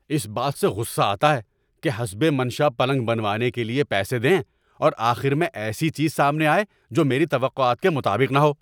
اس بات سے غصہ آتا ہے کہ حسب منشاء پلنگ بنوانے کے لیے پیسے دیں اور آخر میں ایسی چیز سامنے آئے جو میری توقعات کے مطابق نہ ہو۔